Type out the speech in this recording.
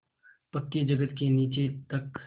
पक्की जगत के नीचे तक